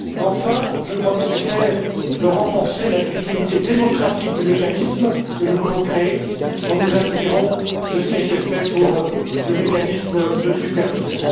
Enfin, je crois qu'il est nécessaire de renforcer la légitimité démocratique du mécanisme que nous voulons créer, en nous inspirant de ce qui a été fait pour le mécanisme de supervision.